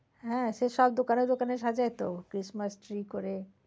হ্যাঁ সে সব দোকানে দোকানে সাজায় তো christmass tree করে।